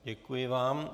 Děkuji vám.